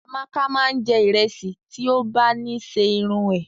Amaka máa n jẹ ìrẹsì ti o ba ni ṣe irun é.